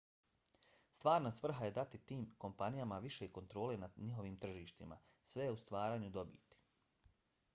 stvarna svrha je dati tim kompanijama više kontrole nad njihovim tržištima - sve je u stvaranju dobiti